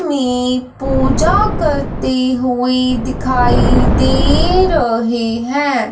मे पूजा करती हुई दिखाई दे रहे हैं।